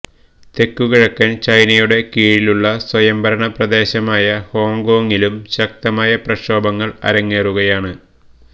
തെക്കുകിഴക്കന് ചൈനയുടെ കീഴിലുള്ള സ്വയംഭരണ പ്രദേശമായ ഹോങ്കോങ്ങിലും ശക്തമായ പ്രക്ഷോഭങ്ങള് അരങ്ങേറുകയാണ്